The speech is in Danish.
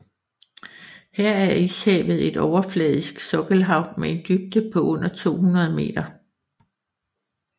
Her er Ishavet et overfladisk sokkelhav med en dybde på under 200 meter